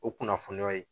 O kunnafoniyaw ye